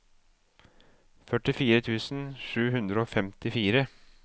førtifire tusen sju hundre og femtifire